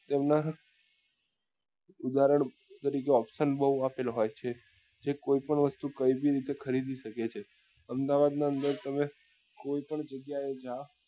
તેમના ઉદાહરણ તરીકે option બઉ આપેલ હોય છે જે કોઈ પણ વસ્તુ કોઈ બી રીતે ખરીદી શકે છે અમદાવાદ ના અંદર તમે કોઈ પણ જગ્યા એ જાઓ